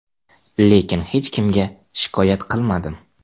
Lekin hech kimga shikoyat qilmadim.